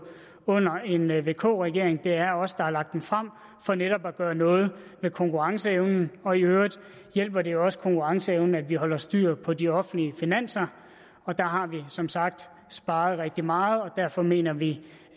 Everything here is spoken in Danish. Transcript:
under en vk regering det er os der har lagt den frem for netop at gøre noget ved konkurrenceevnen og i øvrigt hjælper det også konkurrenceevnen at vi holder styr på de offentlige finanser der har vi som sagt sparet rigtig meget og derfor mener vi